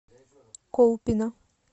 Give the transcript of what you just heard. колпино